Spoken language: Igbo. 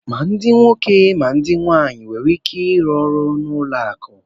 Ma ndị nwoke ma ndị nwaanyị nwere ike ịrụ ọrụ na ụlọ akụ